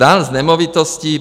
Daň z nemovitosti.